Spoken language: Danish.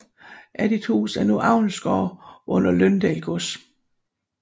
Addithus er nu avlsgård under Løndal Gods